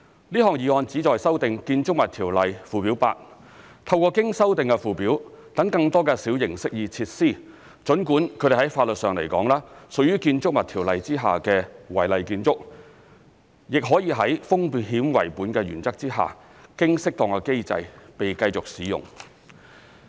這項議案旨在修訂《建築物條例》附表 8， 透過經修訂的附表讓更多的小型適意設施——儘管它們在法律上來說，屬於《建築物條例》下的違例建築——亦可以在"風險為本"的原則下，經適當的機制被繼續使用。